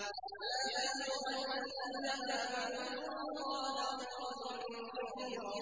يَا أَيُّهَا الَّذِينَ آمَنُوا اذْكُرُوا اللَّهَ ذِكْرًا كَثِيرًا